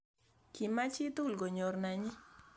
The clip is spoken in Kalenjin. Kimach chitugul konyor nanyi